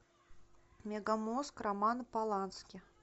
мегамозг романа полански